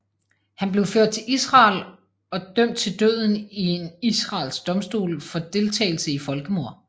Han blev ført til Israel of dømt til døden i en israelsk domstol for deltagelse i folkemord